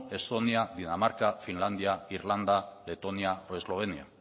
estonia dinamarca finlandia irlanda letonia o eslovenia